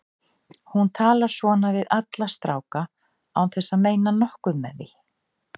Hún talar svona við alla stráka án þess að meina nokkuð með því.